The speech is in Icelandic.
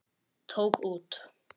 Tók út.